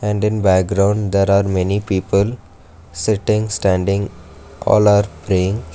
in the background there are many people sitting standing all are praying.